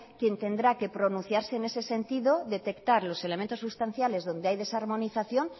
quien tendrá que pronunciarse en ese sentido detectar los elementos sustanciales donde hay desarmonización